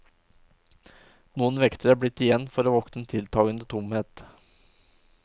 Noen vektere er blitt igjen for å vokte en tiltagende tomhet.